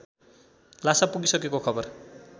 लासा पुगीसकेको खबर